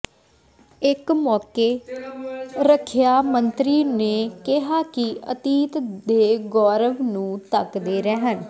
ਇਸ ਮੌਕੇ ਰੱਖਿਆ ਮੰਤਰੀ ਨੇ ਕਿਹਾ ਕਿ ਅਤੀਤ ਦੇ ਗੌਰਵ ਨੂੰ ਤੱਕਦੇ ਰਹਿਣ